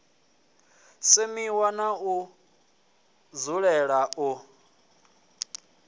semiwa na u dzulela u